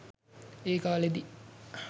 ඒ කාලයේදී